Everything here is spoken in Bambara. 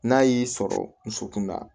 N'a y'i sɔrɔ nson kun na